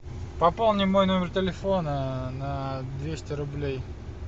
пополни мой номер телефона на двести рублей